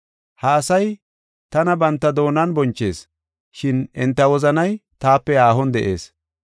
“ ‘Ha asay tana banta doonan bonchees, shin enta wozanay taape haahon de7ees.